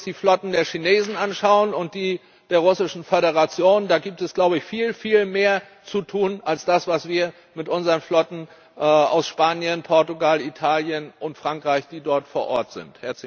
Wenn wir uns die Flotten der Chinesen anschauen und die der Russischen Föderation, gibt es da glaube ich ,viel, viel mehr zu tun, als mit unseren Flotten aus Spanien, Portugal, Italien und Frankreich, die dort vor Ort sind.